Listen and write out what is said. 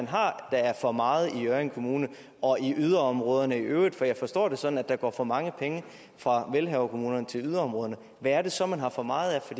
har der er for meget i hjørring kommune og i yderområderne i øvrigt for jeg forstår det sådan at der går for mange penge fra velhaverkommunerne til yderområderne hvad er det så man har for meget af